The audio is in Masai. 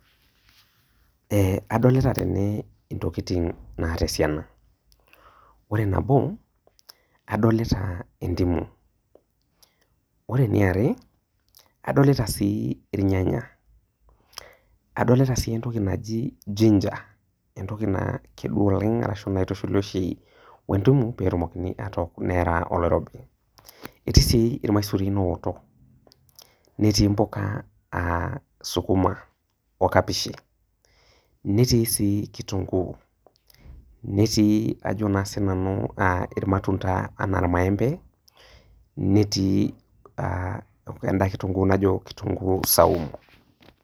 Ee adolta tene ntokitin naata esiana ,ore nabo adolta endimu, ore eniare adolta dii irnyanya, adolta si entoki naji ginger, entoki na kedua oleng naitushuli oshi we entimu petumokini atook nearaa olorobo, neetai sii irmaisurin ooto netii mpuka aw sukuma okapishi, netii si kitunguu ,netii sii ajo si sinanu irmatunda ana irmaembe ,netii aa enda kitunguu najo kitunguu saumu.